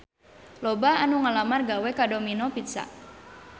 Loba anu ngalamar gawe ka Domino Pizza